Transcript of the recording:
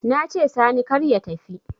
Nace sani kar ya tafi